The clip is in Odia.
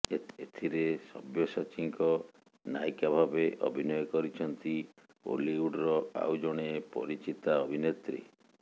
ଏଥିରେ ସବ୍ୟସାଚୀଙ୍କ ନାୟିକା ଭାବେ ଅଭିନୟ କରିଛନ୍ତି ଓଲିଉଡର ଆଉ ଜଣେ ପରିଚିତା ଅଭିନେତ୍ରୀ